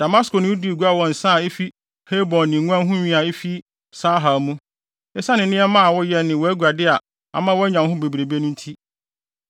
“ ‘Damasko ne wo dii gua wɔ nsa a efi Helbon ne nguan ho nwi a efi Sahar mu, esiane nneɛma a woyɛ ne wʼaguade a ama woanya wo ho bebree no nti.